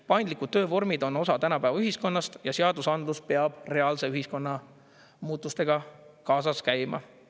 Paindlikud töövormid on osa tänapäeva ühiskonnast ja seadusandlus peab reaalse ühiskonna muutustega kaasas käima.